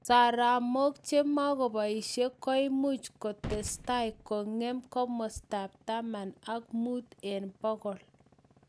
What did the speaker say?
Soromak che magobaishe koimuch kotestai kongem komosta ab taman ak muut eng bogol